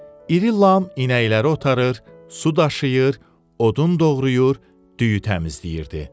İri Lam inəkləri otarır, su daşıyır, odun doğrayır, düyü təmizləyirdi.